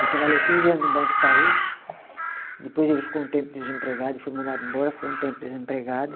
Ele trabalhou quinze anos no Banco Itaú, depois ele ficou um tempo desempregado, ele foi mandado embora, ficou um tempo desempregado.